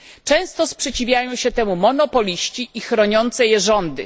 Często sprzeciwiają się temu monopoliści i chroniące je rządy.